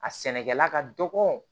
A sɛnɛkɛla ka dɔgɔ